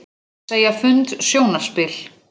Segja fund sjónarspil